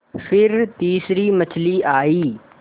फिर तीसरी मछली आई